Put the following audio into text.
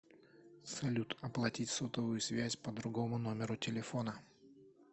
салют оплатить сотовую связь по другому номеру телефона